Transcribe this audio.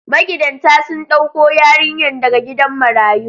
Magidantan sun ɗauko yarinyar daga gidan marayu.